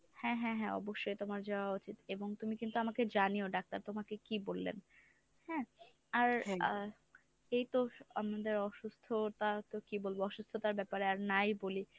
হ্যাঁ হ্যাঁ হ্যাঁ অবশ্যই তোমার যাওয়া উচিত এবং তুমি কিন্তু আমাকে জানিয়ো doctor তোমাকে কী বললেন হ্যাঁ? আর আহ এইতো আমাদের অসুস্থতা তো কী বলবো অসুস্থতার ব্যপারে আর নাই বলি।